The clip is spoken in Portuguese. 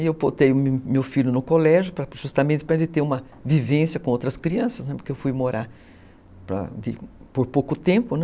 E eu potei meu filho no colégio justamente para ele ter uma vivência com outras crianças, porque eu fui morar por pouco tempo, né?